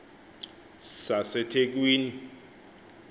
sasethekwini